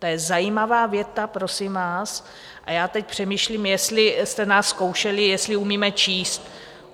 To je zajímavá věta, prosím vás, a já teď přemýšlím, jestli jste nás zkoušeli, jestli umíme číst.